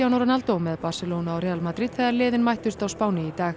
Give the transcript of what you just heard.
Ronaldo með Barcelona og Real Madrid þegar liðin mættust á Spáni í dag